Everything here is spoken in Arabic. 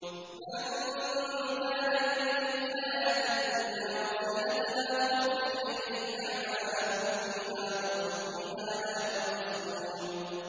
مَن كَانَ يُرِيدُ الْحَيَاةَ الدُّنْيَا وَزِينَتَهَا نُوَفِّ إِلَيْهِمْ أَعْمَالَهُمْ فِيهَا وَهُمْ فِيهَا لَا يُبْخَسُونَ